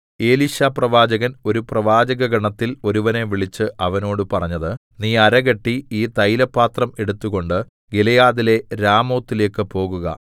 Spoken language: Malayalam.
എലീശാപ്രവാചകൻ ഒരു പ്രവാചക ഗണത്തില്‍ ഒരുവനെ വിളിച്ച് അവനോട് പറഞ്ഞത് നീ അരകെട്ടി ഈ തൈലപാത്രം എടുത്തുകൊണ്ട് ഗിലെയാദിലെ രാമോത്തിലേക്ക് പോകുക